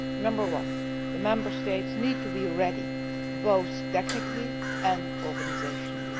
Number one the Member States need to be ready, both technically and organisationally.